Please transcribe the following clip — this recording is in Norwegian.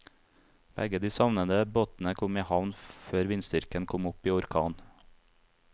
Begge de savnede båtene kom i havn før vindstyrken kom opp i orkan.